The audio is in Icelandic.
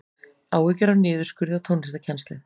Áhyggjur af niðurskurði á tónlistarkennslu